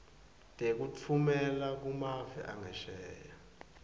tekutfumela kumave angesheya